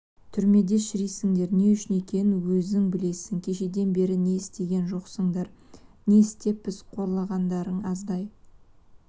түрмеде шірисіңдер не үшін екенін өзің білесің кешеден бері не істеген жоқсыңдар не істеппіз қорлағандарың аздай